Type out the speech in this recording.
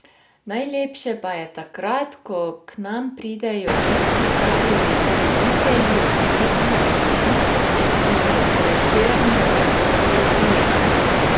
Najlepše pa je takrat, ko k nam pridejo tisti pravi ljubitelji umetnosti in Prešernove poezije.